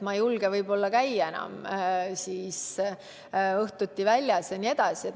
Ma ei julge võib-olla enam õhtuti väljas käia jne.